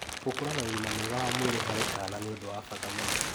Gũkũra na ũgima mwega wa mwĩrĩ harĩ kaana nĩ ũndũ wa bata mũno